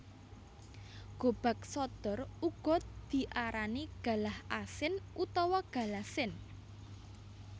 Gobag sodor uga diarani galah asin utawa galasin